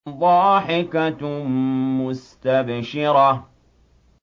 ضَاحِكَةٌ مُّسْتَبْشِرَةٌ